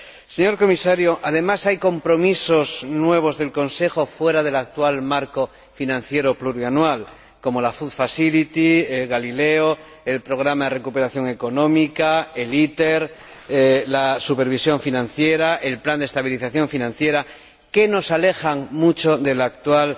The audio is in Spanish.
Señor Comisario, además, hay compromisos nuevos del Consejo fuera del actual marco financiero plurianual, como la Food facility Galileo, el Programa de recuperación económica, el ITER, la supervisión financiera y el Plan de estabilización financiera, que nos alejan mucho del actual